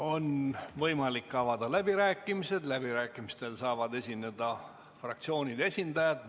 On võimalik avada läbirääkimised, läbirääkimistel saavad esineda fraktsioonide esindajad.